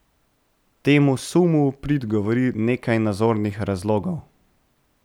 Temu sumu v prid govori nekaj nazornih razlogov.